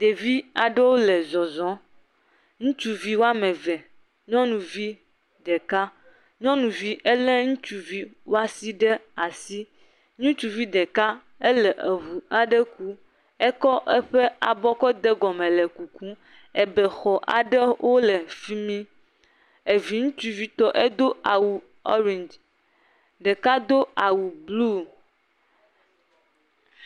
Ɖevi aɖewo le zɔzɔm, ŋutsuvi woame eve, nyɔnuvi ɖeka, nyɔnuvi ele ŋutsuvi woasi ɖe asi, ŋutsuvi ɖeka ele ŋu aɖe kum ekɔ eƒe abɔ ke de egɔme le kukum, ebexɔ aɖewo le efi mi, evi ŋutsuvitɔ edo awu ele orengi, ɖeka do awu blu.